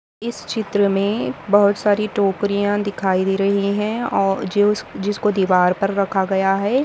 इस चित्र मे बहुत सारी टोकरीया दिखाई दे रही है और जो जिसको दीवार पर रखा गया है।